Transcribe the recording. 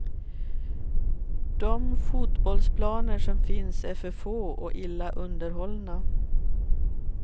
De fotbollsplaner som finns är för få och illa underhållna.